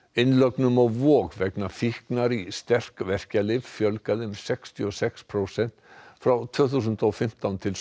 innlögnum á Vog vegna fíknar í sterk verkjalyf fjölgaði um sextíu og sex prósent frá tvö þúsund og fimmtán til